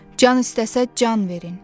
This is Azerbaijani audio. Can istəsə can verin.